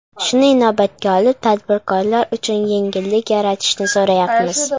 Shuni inobatga olib, tadbirkorlar uchun yengillik yaratishni so‘rayapmiz.